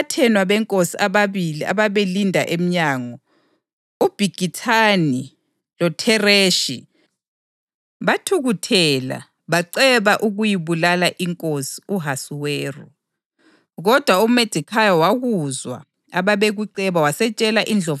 Ngesikhathi uModekhayi ehlezi esangweni lenkosi, abathenwa benkosi ababili ababelinda emnyango, uBhigithani loThereshi, bathukuthela baceba ukuyibulala inkosi u-Ahasuweru.